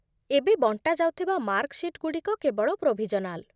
ଏବେ ବଣ୍ଟା ଯାଉଥିବା ମାର୍କ ସିଟ୍‌ଗୁଡ଼ିକ କେବଳ ପ୍ରୋଭିଜନାଲ୍